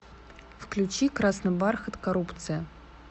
включи красный бархат коррупция